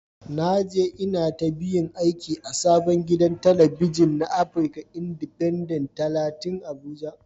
Na je intabiyun aiki a sabon gidan talabijin na afrika indifenden talatin abuja.